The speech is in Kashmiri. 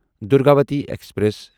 دُرگاوتی ایکسپریس